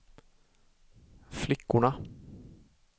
flickorna